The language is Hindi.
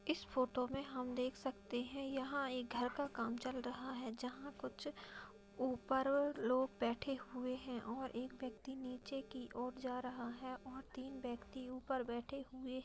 इस फोटो में हम देख सकते हैंयहाँ एक घर का काम चल रहा है जहाँ कुछ ऊपर लोग बैठे हुए हैं और एक व्यक्ति नीचे की ओर जा रहा है और तीन व्यक्ति ऊपर बैठे हुए --